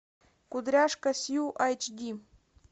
кудряшка сью айч ди